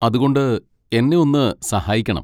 അതുകൊണ്ട് എന്നെ ഒന്ന് സഹായിക്കണം.